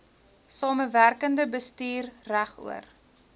samewerkende bestuur regoor